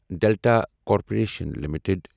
delta Corporation limited